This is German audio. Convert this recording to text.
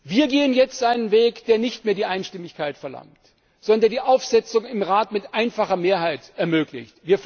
Wir gehen jetzt einen Weg, der nicht mehr die Einstimmigkeit verlangt, sondern die Aufsetzung im Rat mit einfacher Mehrheit ermöglicht.